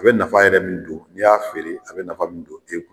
A bɛ nafa yɛrɛ min don n'i y'a feere a nafa bɛ don e kun.